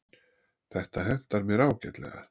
Þetta hentar mér ágætlega.